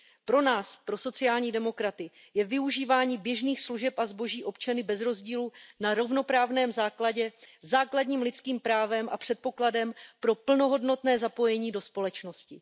Pro nás, pro sociální demokraty, je využívání běžných služeb a zboží občany bez rozdílu na rovnoprávném základě základním lidským právem a předpokladem pro plnohodnotné zapojení do společnosti.